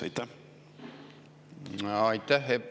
Aitäh!